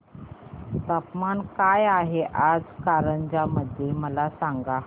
तापमान काय आहे आज कारंजा मध्ये मला सांगा